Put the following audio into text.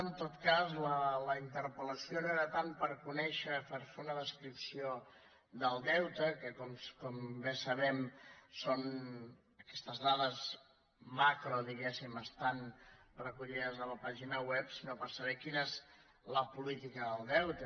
en tot cas la interpellació no era tant per conèixer o per fer una descripció del deute que com bé sabem aquestes dades macro diguéssim estan recollides a la pàgina web sinó per saber quina és la política del deute